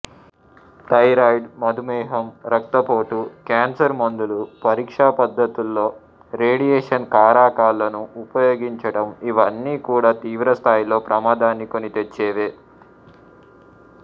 thyroid మధుమేహం రక్తపోటు cancer మందులు పరీక్షా పద్ధతుల్లో రేడియేషన్ కారకాలను ఉపయోగించటం ఇవన్నీ కూడా తీవ్రస్థాయిలో ప్రమాదాన్ని కొనితెచ్చేవే